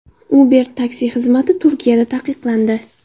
Uber taksi xizmati Turkiyada taqiqlandi.